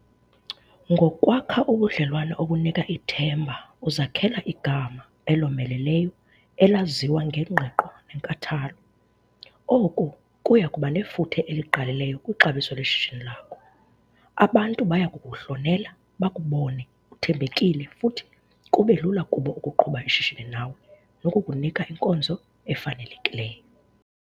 Ngokwakha ubudlelwane obunika ithemba uzakhela igama elomeleleyo elaziwa ngengqiqo nenkathalo. Oku kuya kuba nefuthe elingqalileyo kwixabiso leshishini lakho. Abantu baya kukuhlonela bakubone uthembekile futhi kube lula kubo ukuqhuba ishishini nawe nokukunika inkonzo efanelekileyo.